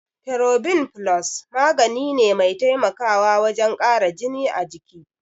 Ferobin Plus magani ne mai taimakawa wajen kara jini a jiki.